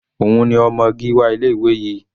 Òun ni ọmọ Gíwá ilé ìwé yìí.